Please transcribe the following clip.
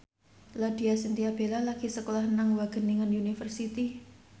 Laudya Chintya Bella lagi sekolah nang Wageningen University